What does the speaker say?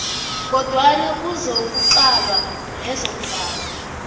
kodwana kuzokuqalwa lezongaba